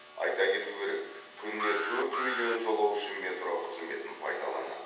айта кету керек күніне төрт миллион жолаушы метро қызметін пайдаланады